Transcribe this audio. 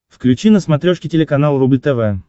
включи на смотрешке телеканал рубль тв